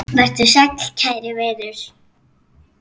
Vertu sæll kæri vinur.